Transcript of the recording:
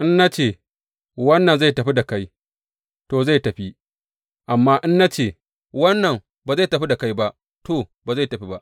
In na ce, Wannan zai tafi da kai,’ to, zai tafi; amma in na ce, Wannan ba zai tafi da kai ba,’ to, ba zai tafi ba.